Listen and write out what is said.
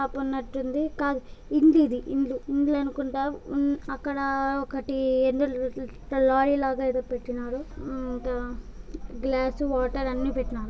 Shop ఉన్నట్టుంది కాదు హిందీ ఇది హిందీ ఇండ్లు ఇండ్ల అనుకుంటా. ఉ అక్కడ ఒకటి ఏదో లారి లాగా ఏదో పెట్టినారు. ఉ త ఇంకా గ్లాస్ వాటర్ అన్ని పెట్టినారు.